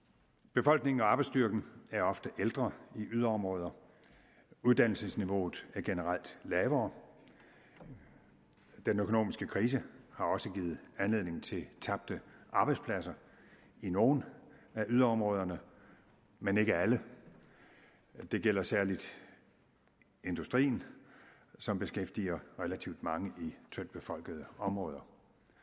befolkningen og arbejdsstyrken er ofte ældre i yderområder uddannelsesniveauet er generelt lavere den økonomiske krise har også givet anledning til tabte arbejdspladser i nogle af yderområderne men ikke alle det gælder særligt industrien som beskæftiger relativt mange i tyndtbefolkede områder